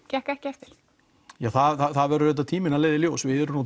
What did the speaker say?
gekk ekki eftir það verður tíminn að leiða í ljós við erum